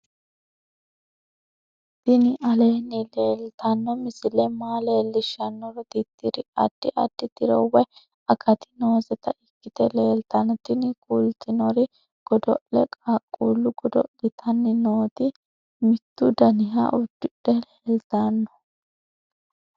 tini aleenni leetanno misile maa leellishshannoro tirriri addi addi tiro woy akati nooseta ikkite leeltanno tini kultannori godo'le qaaquullu godo'litanni nooti mittu daniha uddidhe leelitanno